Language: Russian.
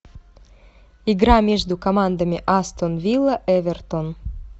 игра между командами астон вилла эвертон